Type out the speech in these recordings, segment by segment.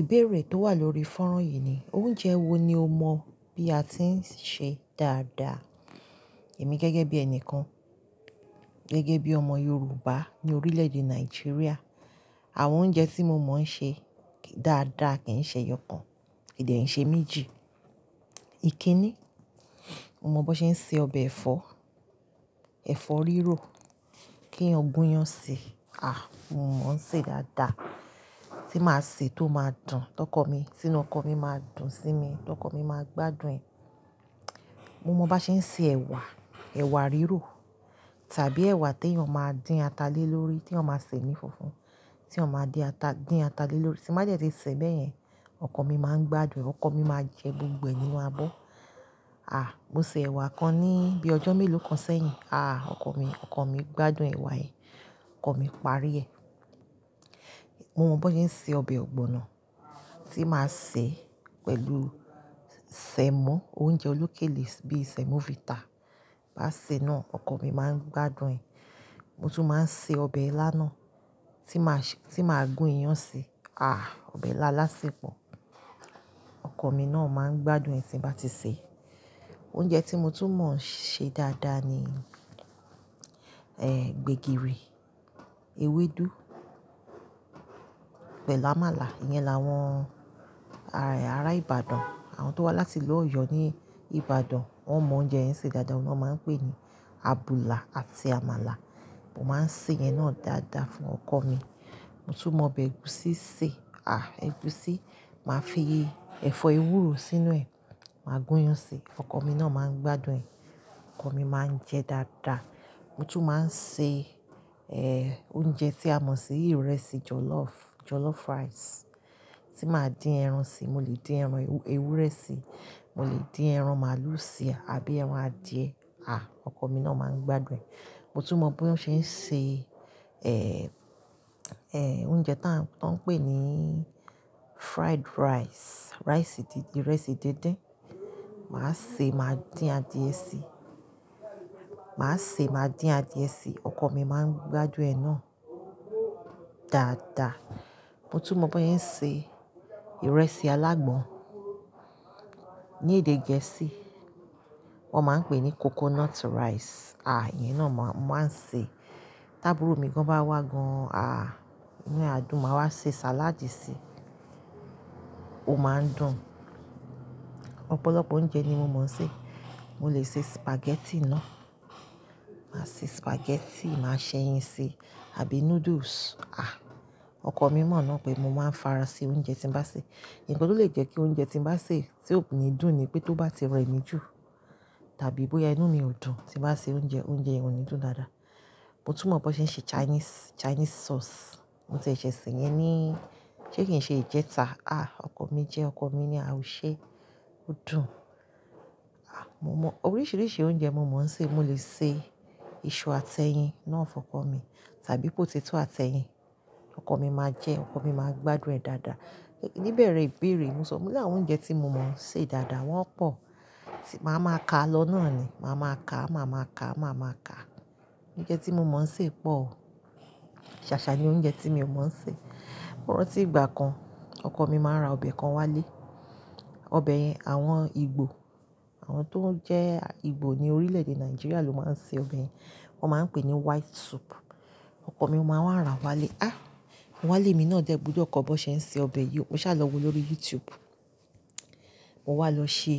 Ìbéèrè tó wà lórí fọ́nrán yìí ni oúnjẹ wo ni o mọ bí a ti ń ṣe dáadáa. Èmi gẹ́gẹ́ bí ẹni kan, gẹ́gẹ́ bí ọmọ Yorùbá ní orílẹ̀-èdè Nàìjíríà, àwọn oúnjẹ tí mo mọ̀ ọ́ ṣe dáadáa kì ń ṣe ẹyọ kan, kì dẹ̀ ń ṣe méjì. Kiní? Mo mọ bọ́n ṣe ń se ọbẹ̀ ẹ̀fọ́, ẹ̀fọ́ rírò kí èèyàn gúnyán si. À, mo mọ̀ ń sè dáadáa. Tí màá sè é tó máa dùn. Tọ́kọ mi, tínú ọkọ mi máa dùn sí mi, tọ́kọ mi máa gbádùn ẹ̀. Mo mọ bá ṣe ń se ẹ̀wà, ẹ̀wà rírò tàbí ẹwà téèyàn máa dín ata lé lórí téèyàn máa sè ní funfun, téèyàn máa dín ata lé lórí. Tí n bá dẹ̀ tí sè é bẹ́yẹn, ọkọ̀ mi máa ń gbádùn ẹ̀, ọkọ mi máa jẹ gbogbo ẹ̀ nínú abọ́. À, mo se ẹ̀wà kan ní bíi ọjọ́ mélòó kan sẹ́yìn. À, ọkọ mi, ọkọ mi gbádùn ẹ̀wà yẹn, ọkọ mi parí ẹ̀. Mo mọ bọ́n ṣe ń se ọbẹ̀ ọ̀gbọ̀nna tí màá sè é pẹ̀lú sẹ̀mó, oúnjẹ olókèlè bíi Semovita. Bá sè é náà, ọkọ mi máa ń gbádùn ẹ̀. Mo tún máa ń se ọbẹ̀ ilá náà tí màá gún iyán síi. À, ọbẹ̀ ilá alásèpọ̀ Ọkọ mi náà máa ń gbádùn ẹ̀ tí n bá ti sè é. Oúnjẹ tí mo tún mọ̀ ń ṣe dáadáa ni, ẹ́, gbègìrì, ewédú pẹ̀lú àmàlà. Iyẹn làwọn ará Ìbàdàn, àwọn tó wá láti ìlú Ọ̀yọ́ ní Ìbàdàn. Wọ́n mọ oúnjẹ yẹn se dáadáa, òun lọ́n máa ń pè ní àbùlà àti àmàlà. Mo máa ń sèyẹn náà dáadáa fún ọkọ mi. Mo tún mọ ọbẹ̀ ẹ̀gúsí sè. À, ẹ̀gúsí, màá fi ẹ̀fọ́ ewúro sínú ẹ̀, màá gúnyán síi, ọkọ mi náà máa ń gbádùn ẹ̀. Ọkọ mi máa ń jẹ dáadáa. Mo tún máa ń se, ẹ́, oúnjẹ tí a mọ̀ sí ìrẹsì jọlọ́ọ̀fù, jollof rice tí màá dín ẹran síi. Mo lè dín ẹran ewúrẹ́ sí i, mo lè dín ẹran màlúù sí i àbí ẹran adìẹ. À, ọkọ mi náà máa ń gbádùn ẹ̀. Mo tún mọ bí wọ́n ṣe ń se, ẹ̀, ẹ̀, oúnjẹ tá à, tọ́n ń pè ní fried rice. Rice di, ìrẹsì díndín. Màá sè é, màá dín adìẹ si. Màá se, màá dín adìẹ sí i, ọkọ mi máa ń gbádùn ẹ̀ náà dáadáa. Mo tún mọ bọ́n ṣe ń se ìrẹsì alágbọn. Ní èdè Gẹ̀ẹ́sì wọ́n máa ń pè é ní coconut rice. À, ìyẹn náà ma, mo màá ń sè é. Tábùúrò mi gan-an bá wá gan-an, à, inú ẹ̀ á dùn, màá wá ṣe sàláàdì sí i, ó máa ń dùn. Ọ̀pọ̀lọpọ̀ oúnjẹ ni mo mọ̀ ń ṣe. Mo lè se spaghetti náà. Màá se spaghetti, màá ṣẹyin si, àbí noodles. À, ọkọ mi mọ̀ náà pé mo máa ń fara se oúnjẹ tí n bá sè. Ǹkan tó lè jẹ́ kí oúnjẹ tí n bá sè tí ò ní dùn ni pé tó bá ti rẹ mí jù tàbí bóyá inú mi ò dùn, tí n bá se oúnjẹ, oúnjẹ yẹn ò ní dùn dáadáa. Mo tún mọ bó ṣe ń ṣe Chinese, Chinese sauce. Mo tiẹ̀ ṣẹ̀ẹ̀ sè yẹn ní, ṣé kì í ṣe ìjẹta. Áà, ọkọ mi jẹẹ́, ọkọ mi ni áà, o ṣe é, ó dùn. À, mo mọ oríṣiríṣi oúnjẹ mo mọ̀ ọ́ sè. Mo lè se iṣu àtẹyin náà fọ́kọ mi tàbí potato àtẹyin, ọkọ mi máa jẹ ẹ́, ọkọ mi máa gbádùn ẹ̀ dáadáa. Níbẹ̀rẹ̀ ìbéèrè, mo sọ, mo ní àwọn oúnjẹ tí mo mọ̀ ọ́ sè dáadáa wọ́n pọ̀. Màá máa kà á lọ náà ni. Màá máa kà á, màá máa kàá, màá máa kàá. Oúnjẹ tí mo mọ̀ ń ṣe pọ̀. Ṣàṣà ni oúnjẹ tí mi ò mọ̀ ọ́ sè. Mo rántí ìgbà kan, ọkọ mi máa ń ra ọbẹ̀ kan wálé. Ọbẹ̀ yẹn àwọn Ìgbò, àwọn tó ń jẹ́ Ìgbò ní orílẹ̀-èdè Nàìjíríà ló máa ń se ọbẹ̀ yẹn. Wọ́n máa ń pè é ní white soup. Ọkọ mi máa wá rà á wálé. Á, mo wá lémi náà dẹ̀ gbúdọ̀ kọ́ bọ́n ṣe ń se ọbẹ̀ yìí o. Mo ṣáà lọ wò ó lórí YouTube. Mo wá lọ ṣe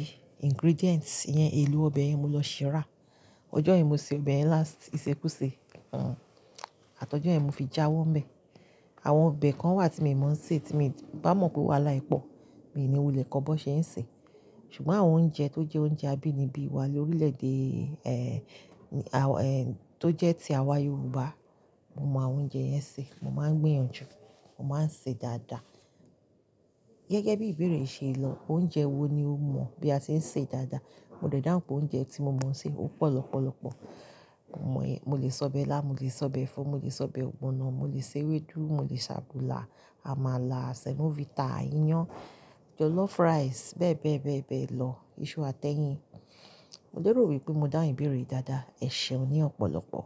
ingredients ìyẹn, èlò ọbẹ̀ yẹn mo lọ ṣìí rà. Ọjọ́ yẹn mo se ọbẹ̀ yẹn last, ìsèkusè Àtọ̀jọ́ yẹn mo fi jáwọ́ ńbẹ̀. Àwọn ọbẹ̀ kan wà tí miì mọ̀ ọ́ se tí mi, bá mọ̀ pé wàhálà ẹ̀ pọ̀, mi ì ní wulẹ̀ kọ́ bọ́n ṣe ń ṣè é. Ṣùgbọ́n àwọn oúnjẹ tó jẹ́ oúnjẹ abínibí wa lórílẹ̀-èdè, ẹ̀, tó jẹ́ ti àwa Yorùbá, mo mọ àwọn oúnjẹ yẹn sè. Mo máa ń gbìyànjú, mo máa ń sè é dáadáa. Gẹ́gẹ́ bí ìbéèrè ṣe lọ, oúnjẹ wo ni o mọ̀ bí a ti ń sè dáadáa. Mo dẹ̀ dáhùn pé oúnjẹ tí mo mọ̀ ọ́ sè, ó pọ̀ lọ́pọ̀lọpọ̀. Ọkọ mi máa wá rà á wálé. Á, mo wá lémi náà dẹ̀ gbúdọ̀ kọ́ bọ́n ṣe ń se ọbẹ̀ yìí o. Mo ṣáà lọ wò ó lórí YouTube. Mo lérò wí pé mo dáhùn ìbéèrè yìí dáadáa. Ẹ ṣeun ní ọ̀pọ̀lọpọ̀.